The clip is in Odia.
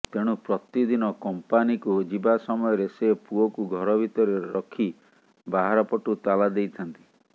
ତେଣୁ ପ୍ରତିଦିନ କମ୍ପାନୀକୁ ଯିବା ସମୟରେ ସେ ପୁଅକୁ ଘର ଭିତରେ ରଖି ବାହାରପଟୁ ତାଲାଦେଇଥାନ୍ତି